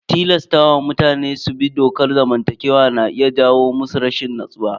Tilasta wa mutane su bi dokar zamantakewa na iya jawo musu rashin natsuwa.